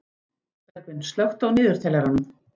Bergvin, slökktu á niðurteljaranum.